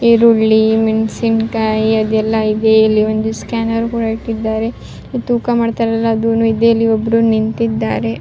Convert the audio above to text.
ಈರುಳ್ಳಿ ಮೆಣಸಿನಕೆಯಿ ಎಲ್ಲ ಇದೆ ಇಲ್ಲಿ ಒಂದು ಸ್ಕ್ಯಾನರ್ ಕೂಡ ಇಟ್ಟಿದ್ದಾರೆ ತೂಕ ಮಾಡ್ತಾರಲ್ಲ ಅದೂನೂ ಇದೆ ಇಲ್ಲಿ ಒಬ್ಬರು ನಿಂತಿದ್ದಾರೆ-